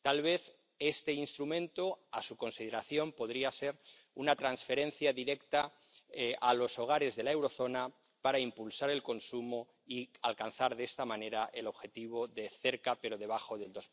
Tal vez este instrumento, a su consideración, podría ser una transferencia directa a los hogares de la eurozona para impulsar el consumo y alcanzar de esta manera el objetivo de cerca pero debajo del